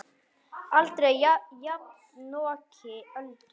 Aldrei jafnoki Öldu.